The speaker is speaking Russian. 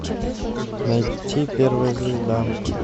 найти первая звезда